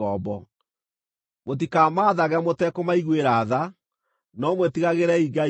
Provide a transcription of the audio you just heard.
Mũtikamaathage mũtekũmaiguĩra tha, no mwĩtigagĩrei Ngai wanyu.